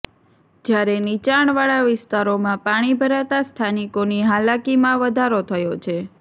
જયારે નીચાણવાળા વિસ્તારોમાં પાણી ભરાતા સ્થાનિકોની હાલાકીમાં વધારો થયો છે